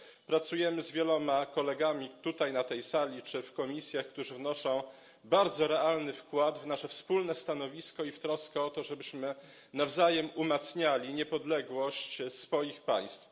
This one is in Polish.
Pracujemy z wieloma kolegami, tutaj, na tej sali czy w komisjach, którzy wnoszą bardzo realny wkład w nasze wspólne stanowisko i w troskę o to, żebyśmy nawzajem umacniali niepodległość swoich państw.